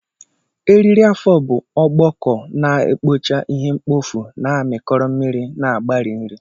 Eriri afọ bụ ọkpọkọ na-ekpocha ihe mkpofu, na-amịkọrọ mmiri na-agbari nri.